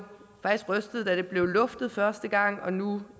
rystet over da det blev luftet første gang og nu